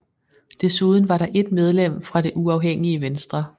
Desuden var der 1 medlem fra det uafhængige venstre